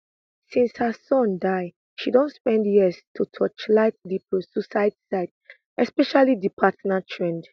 since her son die she don spend years to torchlight di prosuicide site especially di partner thread